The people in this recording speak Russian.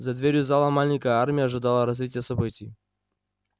за дверью зала маленькая армия ожидала развития событий